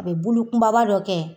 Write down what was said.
A bɛ bulu kunbaba dɔ kɛ yen.